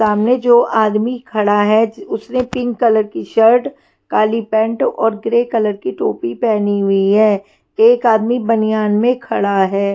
सामने जो आदमी खड़ा है जि उसने पिंक कलर की शर्ट काली पैंट और ग्रे कलर की टोपी पहनी हुई है एक आदमी बनियान में खड़ा है।